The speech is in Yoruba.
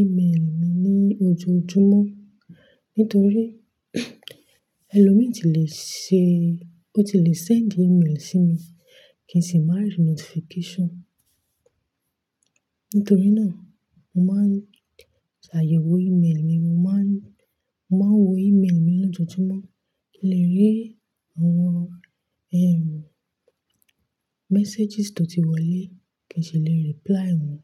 ímélì mi ní ojoojúmọ́, nítorí ẹlòmíì tí lè ṣe-- o ti lè send imail sí mi kí n sì máa rí notification. Nítorí náà, mo máa ń ṣàyẹ̀wò ímélì mi, mo máa ń, mo máa wo ímélì mi lójoojúmọ́ kí n lè rí àwọn ẹrù, messages tó ti wọlé kí n sì lè reply wọ́n.